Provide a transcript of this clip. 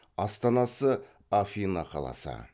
астанасы афина қаласы